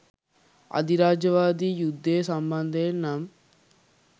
අධිරාජ්‍යවාදී යුද්ධය සම්බන්ධයෙන් නම්